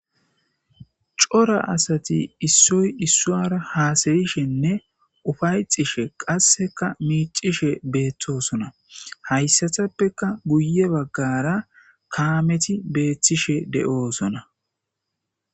cora asati issoy issuara haasayishenne ufaycishe qasseka miicishe beettosona hayssatappeka guye baggara kaameti beethtishe de7oosona